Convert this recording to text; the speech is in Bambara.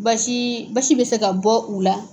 Basi basi bɛ se ka bɔ u la.